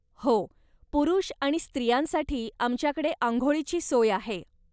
हो पुरूष आणि स्त्रियांसाठी आमच्याकडे आंघोळीची सोय आहे.